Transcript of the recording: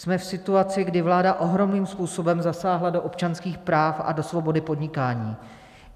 Jsme v situaci, kdy vláda ohromným způsobem zasáhla do občanských práv a do svobody podnikání.